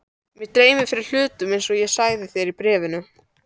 Mig dreymir fyrir hlutum einsog ég sagði þér í bréfinu.